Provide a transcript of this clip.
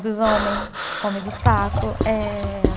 Lobisomem, homem do saco, eh